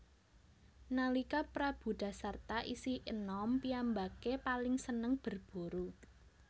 Nalika Prabu Dasarta isih enom piyambake paling seneng berburu